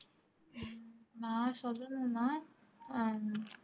நான் சொல்லணும்ன்னா ஆஹ்